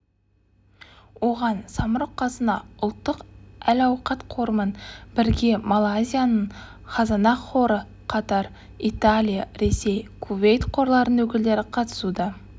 оған самұрық-қазына ұлттық әл-ауқат қорымен бірге малайзияның казанах қоры катар италия ресей кувейт қорларының өкілдері қатысуда